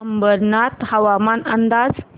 अंबरनाथ हवामान अंदाज